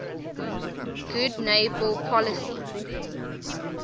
good neighbor policy